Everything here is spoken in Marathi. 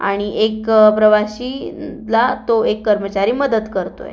आणि एक प्रवाशी ला तो एक कर्मचारी मदत करतोय.